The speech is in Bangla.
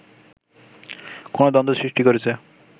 কোন দ্বন্দ্ব সৃষ্টি করেছে